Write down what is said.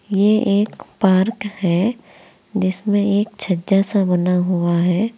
ये एक पार्क है जिसमें एक छज्जा सा बना हुआ है।